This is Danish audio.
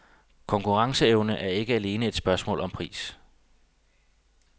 Konkurrenceevne er ikke alene et spørgsmål om pris.